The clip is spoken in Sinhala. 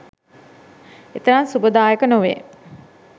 එතරම් සුබදායක නොවේ